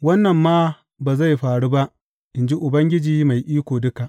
Wannan ma ba zai faru ba, in ji Ubangiji Mai Iko Duka.